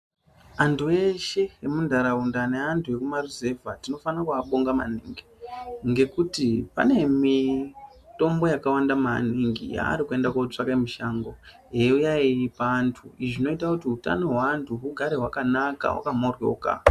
Antu eshe emuntaraunda neantu ekumaruzevha tinofana kuabonga maningi ngekuti pane mitombo yakawanda maningi yaari kuenda kotsvake mushango eiuya eipa antu zvinoita kuti utano hweantu hugare hwakanaka hwakamhoryoka.